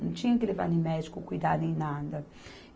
Não tinha que levar em médico, cuidar, nem nada.